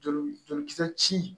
Joli jolikisɛ ci